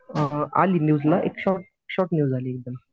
अ आली न्यूजला एक शॉर्ट न्यूज आली एकदम